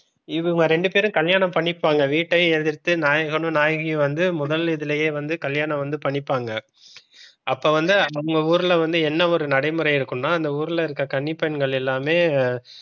இவங்க ரெண்டு பேரும் கல்யாணம் பண்ணிப்பாங்க வீட்டை எதிர்த்து நாயகனும் நாயகியும் வந்து முதல் இதுலையே வந்து கல்யாணம் வந்து பண்ணிப்பாங்க அப்ப வந்து அந்த ஊர்ல வந்து என்ன ஒரு நடைமுறை இருக்கும்னா அந்த ஊர்ல இருக்க கன்னிப்பெண்கள் எல்லாமே,